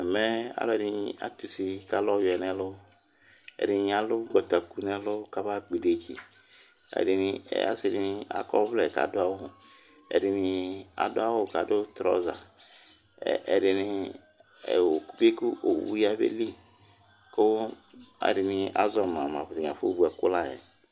Ɛmɛ alʋɛdìní atʋsi kʋ alu ɔwʋɛ ŋu ɛlu Ɛɖìní alu ʋgbataku ŋu ɛlu kaba kpɔ iɖetsi Asiɖìŋí akɔ ɔvlɛ kʋ aɖu awu Ɛɖìní aɖu awu kʋ aɖu strɔza Ɛɖìní, biku owu yabeli kʋ alʋɛdìní azɔma ŋu ataŋi afɔ vu ɛku layɛ